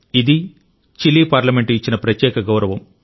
ఇది Chile parliament ఇచ్చిన ప్రత్యేక గౌరవం